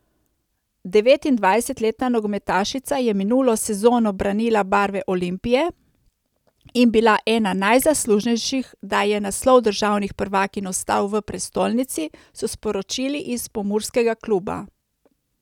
Devetindvajsetletna nogometašica je minulo sezono branila barve Olimpije in bila ena najzaslužnejših, da je naslov državnih prvakinj ostal v prestolnici, so sporočili iz pomurskega kluba.